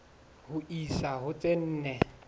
ho isa ho tse nne